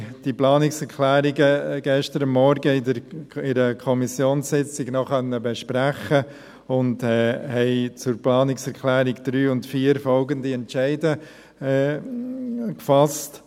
Die Planungserklärungen konnten wir an der gestrigen Kommissionssitzung noch besprechen und haben zu den Planungserklärungen 3 und 4 folgende Entscheide gefasst: